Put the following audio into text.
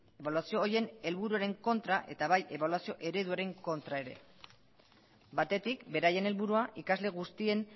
ebaluazio horien helburuen kontra eta bai ebaluazio ereduaren kontra ere batetik beraien helburua ikasle guztien